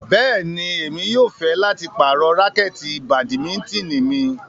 Bẹ́ẹ̀ni, Emi yóò fẹ lati parọ rakẹti badimitini mi